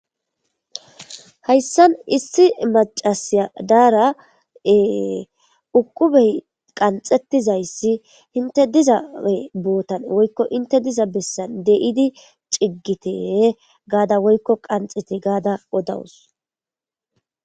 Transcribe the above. Hayssan issi macasiya daara7e uqubey qanxettizayssi hinte dizae bootan woykko inte diza bessan deidi ciggite gaada woykko qanxete gaada odawus.